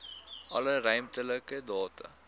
alle ruimtelike data